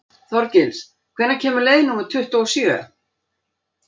Þorgils, hvenær kemur leið númer tuttugu og sjö?